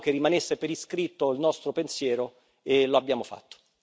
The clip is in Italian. Volevamo che rimanesse per iscritto il nostro pensiero e lo abbiamo fatto.